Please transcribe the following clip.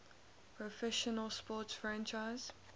professional sports franchise